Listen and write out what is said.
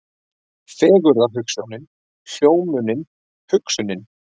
Fegurðarhugsjónin, hugljómunin, hugsunin.